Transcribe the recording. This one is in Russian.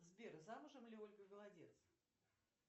сбер замужем ли ольга голодец